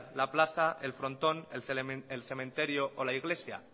la plaza el frontón el cementerio o la iglesia